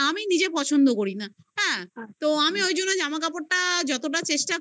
আমি নিজে পছন্দ করি না, হ্যা, তো আমি ওই জন্য জামাকাপড়টা যতটা চেষ্টা